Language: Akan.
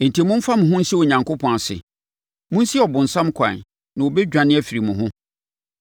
Enti, momfa mo ho nhyɛ Onyankopɔn ase. Monsi ɔbonsam kwan, na ɔbɛdwane afiri mo ho.